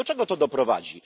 Do czego to doprowadzi?